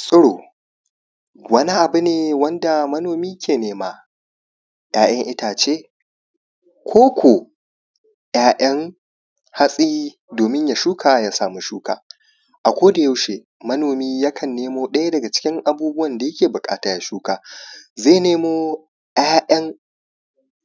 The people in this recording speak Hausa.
Tsiro, wani abu ne wanda manomi ke nema, 'ya'yan itaace ko ko 'ya'yan hatsi doomin ya shuka ya samu shuka. A kodayaushe manomi yakan nemo ɗaya daga cikin abubuwan da yake buƙata ya shuka, zai nemo 'ya'yan